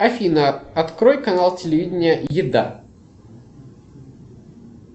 афина открой канал телевидения еда